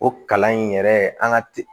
O kalan in yɛrɛ an ka